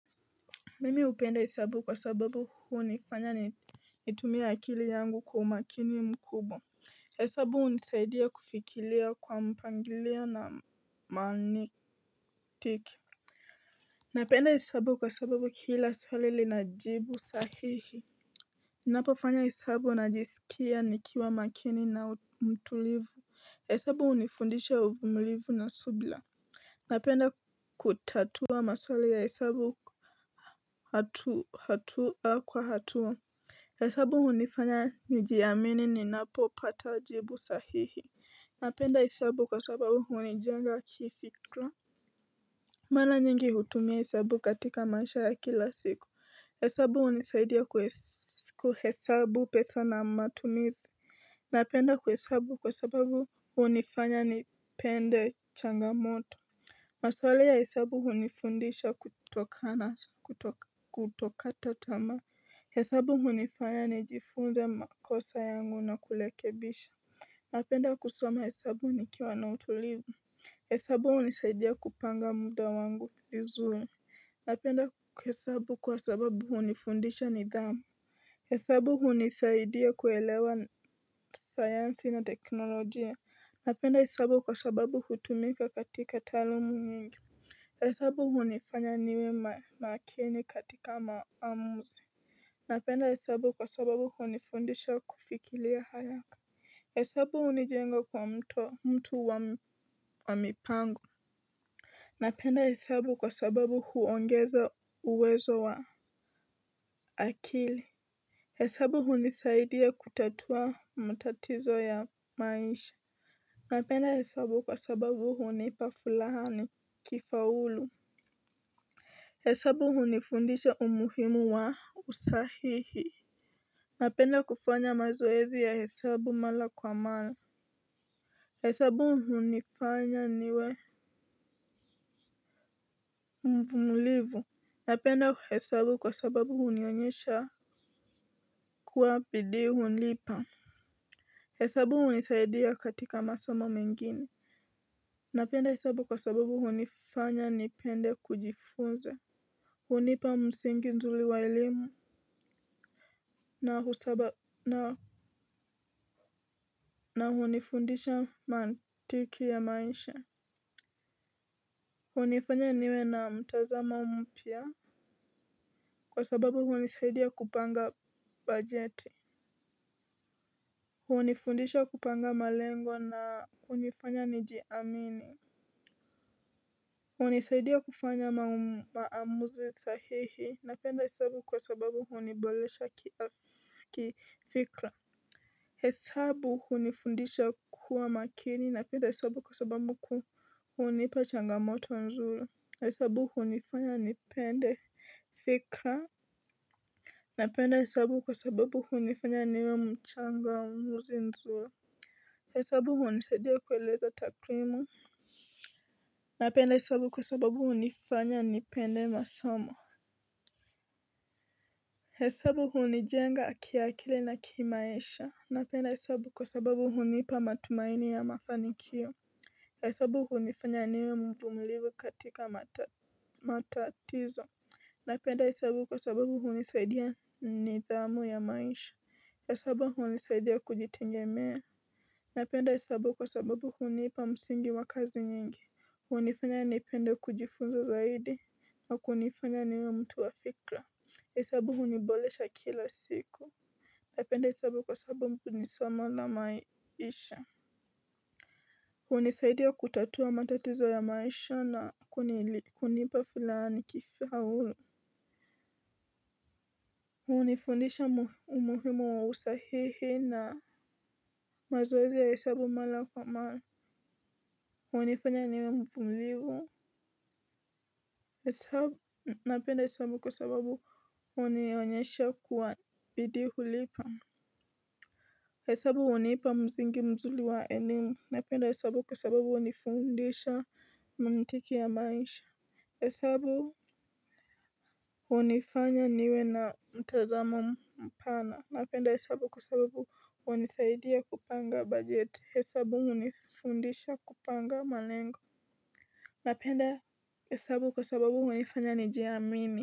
Mimi hupenda hesabu kwa sababu hunifanya natumie akili yangu kwa umakini mkubwa. Hesabu hunisaidia kufikiria kwa mpangilio na mantiki. Napenda hesabu kwa sababu kila swali lina jibu sahihi. Napofanya hesabu najisikia nikiwa makini na mtulivu. Hesabu hunifundisha umulivu na subira. Napenda kutatua maswali ya hesabu hatua kwa hatua. Hesabu hunifanya nijiamini ninapopata jibu sahihi. Napenda hesabu kwa sababu hunijenga kifika. Mara nyingi hutumia hesabu katika maisha ya kila siku. Hesabu hunisaidia kuhesabu pesa na matumizi. Napenda kuhesabu kwa sababu hunifanya nipende changamoto. Maswali ya hesabu hunifundisha kuto kata tamaa. Hesabu hunifanya nijifunze makosa yangu na kurekebisha. Napenda kusoma hesabu nikiwa na utulivu, hesabu hunisaidia kupanga muda wangu vizuri. Napenda hesabu kwasababu hunifundisha nidhamu. Hesabu hunisaidia kuelewa sayansi na teknolojia. Napenda hesabu kwa sababu hutumika katika taaluma nyingi. Hesabu hunifanya niwe makini katika maamuzi. Napenda hesabu kwa sababu hunifundisha kufikiria haraka hesabu hunijenga kwa mtu wa mipango napenda hesabu kwa sababu huongeza uwezo wa akili. Hesabu hunisaidia kutatua matatizo ya maisha. Napenda hesabu kwa sababu hunipa furaha nikifaulu. Hesabu hunifundisha umuhimu wa usahihi napenda kufanya mazoezi ya hesabu mara kwa mara hesabu hunifanya niwe mvumulivu. Napenda hesabu kwa sababu hunionyesha kuwa bidii hulipa hesabu hunisaidia katika masomo mengine. Napenda hesabu kwa sababu hunifanya nipende kujifunza. Hunipa msingi nzuri wa elimu na hunifundisha mantiki ya maisha. Hunifanya niwe na mtazamo mpya. Kwa sababu hunisaidia kupanga bajeti. Hunifundisha kupanga malengo na hunifanya nijiamini. Hunisaidia kufanya maamuzi sahihi napenda hesabu kwa sababu huniboresha kifikra hesabu hunifundisha kuwa makini. Napenda hesabu kwa sababu hunipa changamoto nzuri. Hesabu hunifanya nipende fikra napenda hesabu kwa sababu hunifanya niwe mchangamuzi mzuri. Hesabu hunisaidia kueleza takrimu. Napenda hesabu kwa sababu hunifanya nipende masomo hesabu hunijenga kiakili na kimaisha. Napenda hesabu kwa sababu hunipa matumaini ya mafanikio. Hesabu hunifanya niwe mvumilivu katika matatizo. Napenda hesabu kwa sababu hunisaidia nidhamu ya maisha. Hesabu hunisaidia kujitegemea. Napenda hesabu kwa sababu hunipa msingi wa kazi nyingi. Hunifanya nipenda kujifunza zaidi nakunifanya niwe mtu wa fikra. Hesabu huniboresha kila siku. Napenda hesabu kwa sababu ni somo la maisha. Hunisaidia kutatua matatizo ya maisha na kunipa furaha nikasahu hunifundisha umuhimu wa usahihi na mazoezi ya hesabu mara kwa mara. Hunifanya niwe mvumilivu. Napenda hesabu kwa sababu hunionyesha kuwa bidii hulipa hesabu hunipa msingi mzuri wa elimu napenda hesabu kwa sababu hunifundisha mantiki ya maisha. Hesabu hunifanya niwe na mtazamo mpana. Napenda hesabu kwa sababu hunisaidia kupanga bajeti. Hesabu hunifundisha kupanga malengo. Napenda hesabu kwa sababu hunifanya nijiamini.